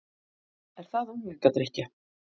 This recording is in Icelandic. Er það unglingadrykkja?